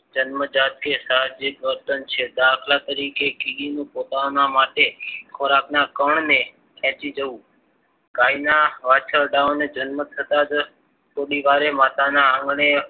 જન્મજાતથી સાજીદ વર્તન છે. દાખલા તરીકે કીડી ને પોતાના માટે ખોરાકના કણને ખેંચી જવું. ગાયના વાછરડાઓના જન્મ થતાં જ થોડીવાર માતાના આંગણે